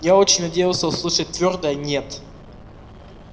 я очень надеялся услышать твёрдое нет